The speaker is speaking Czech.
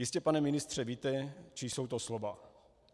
Jistě, pane ministře, víte, čí jsou to slova.